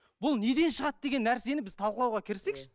бұл неден шығады деген нәрсені біз талқылауға кірісейікші